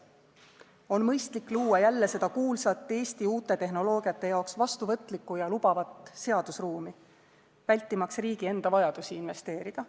On mõistlik luua jälle seda kuulsat Eesti uute tehnoloogiate jaoks vastuvõtlikku ja lubavat seadusruumi, vältimaks riigi enda vajadusi investeerida.